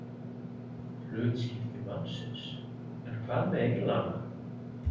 Hlutskipti mannsins, en hvað með englana?